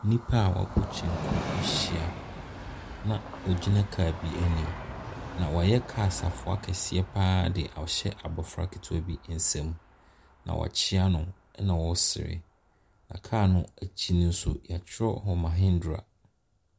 Nnipa a wɔabɔ kyenku ahyia, na wɔgyina kaa bi anim, na wɔayɛ kaa safoa kɛseɛ pa ara de ahyɛ abɔfra ketewa bi nsam, na wɔakyea no na ɔresere, na kaa no akyi no nso, wɔatwerɛ hɔ, Mahindra.